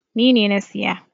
Ni ne na siya.